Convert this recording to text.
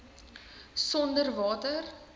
sonderwater